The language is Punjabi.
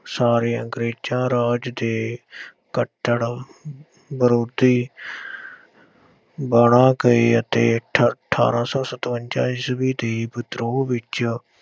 ਸਾਰੇ ਅੰਗਰੇਜ਼ਾਂ ਰਾਜ ਦੇ ਕੱਟੜ ਵਿਰੋਧੀ ਬਣ ਗਏ ਅਤੇ ਠ ਅਠਾਰਾਂ ਸੌ ਸਤਵੰਜਾ ਈਸਵੀ ਦੀ ਵਿਧਰੋਹ ਵਿੱਚ